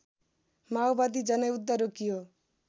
माओवादी जनयुद्ध रोकियो